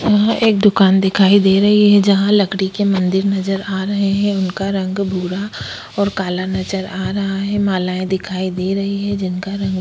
यहाँ एक दुकान दिखाई दे रही है जहाँ लकड़ी के मंदिर नजर आ रहे हैं उनका रंग भूरा और काला नजर आ रहा है मालाएँ दिखाई दे रही है जिनका रंग --